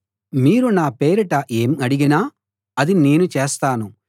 మీరు నా పేరిట ఏం అడిగినా అది నేను చేస్తాను